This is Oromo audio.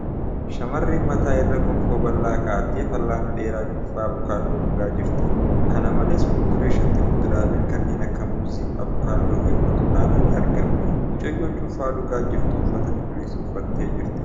Shamarreen mataa irra gonfoo bal'aa kaa'attee fal'aana dheeraa cuunfaa avookaadoo dhugaa jirti. Kana malees, fuuldura isheetti fuduraaleen kanneen akka muuzii, avookaadoo fi burtukaanaa ni argama. Mucayyoon cuunfaa dhugaa jirtu uffata cuquliisa uffattee jirti.